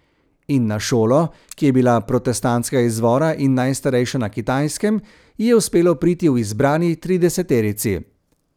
In na šolo, ki je bila protestantskega izvora in najstarejša na Kitajskem, ji je uspelo priti v izbrani trideseterici.